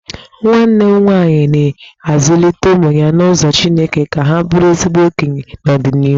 Nwanne m nwaanyị na-azụlite ụmụ ya n'ụzọ chineke ka ha bụrụ ezigbo okenye n'ọdịnịhu.